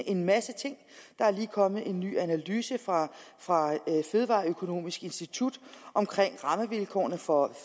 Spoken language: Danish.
en masse ting der er lige kommet en ny analyse fra fra fødevareøkonomisk institut omkring rammevilkårene for